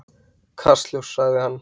Kastljós, svarar hann.